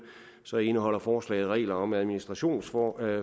så indeholder forslaget regler om administrationsforbud